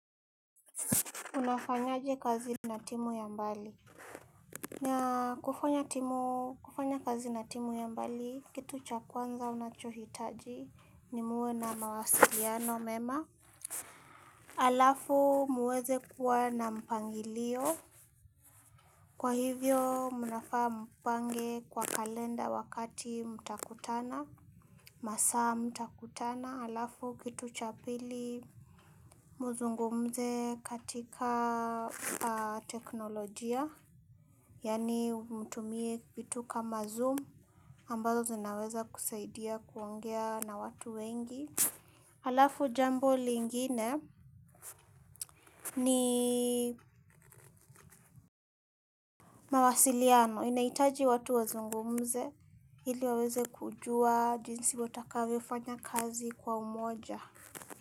Unafanyaje kazi na timu ya mbali kufanya kazi na timu ya mbali, kitu cha kwanza unachohitaji ni muwe na mawasiliano mema halafu muweze kuwa na mpangilio kwa hivyo, mnafaa mpange kwa kalenda wakati mtakutana masaa mtakutana, halafu kitu cha pili mzungumze katika teknolojia yaani mtumie vitu kama zoom ambazo zinaweza kusaidia kuongea na watu wengi halafu jambo lingine ni mawasiliano inahitaji watu wazungumze ili waweze kujua jinsi watavyofanya kazi kwa umoja.